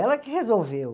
Ela que resolveu.